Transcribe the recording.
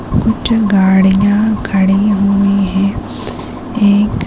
कुछ गाड़ियाँ खड़ी हुई है एक--